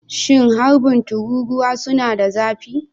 Shin harbin tururuwa suna da zafi?